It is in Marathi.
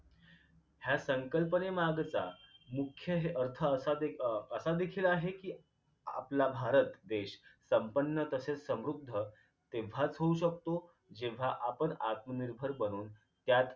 ह्या संकल्पनेमागचा मुख्य ह अर्थ असाच एक असा देखील आहे कि आपला भारत देश संपन्न तसेच समृद्ध तेव्हाच होऊ शकतो जेव्हा आपण आत्मनिर्भर बनून त्यात